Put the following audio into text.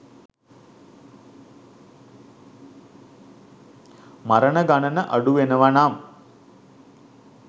මරණ ගණන අඩු වෙනව නම්